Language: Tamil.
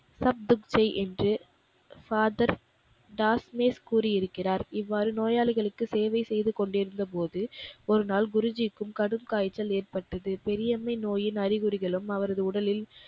என்று Father தாஸ்மிஸ் கூறியிருக்கிறார். இவ்வாறு நோயாளிகளுக்கு சேவை செய்து கொண்டிருந்த போது, ஒரு நாள் குருஜிக்கும் கடும் காய்ச்சல் ஏற்ப்பட்டது. பெரியம்மை நோயின் அறிகுறிகளும் அவரது உடலில்,